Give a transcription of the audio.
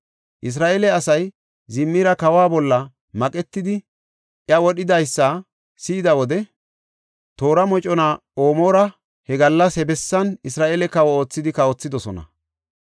Isra7eele asay Zimirii kawa bolla maqetidi iya wodhidaysa si7ida wode toora mocona Omira he gallas he bessan Isra7eele kawo oothidi kawothidosona.